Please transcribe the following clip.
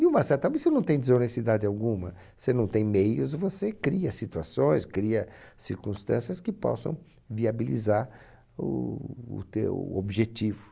De uma certa você não tem desonestidade alguma, você não tem meios, você cria situações, cria circunstâncias que possam viabilizar o o teu objetivo.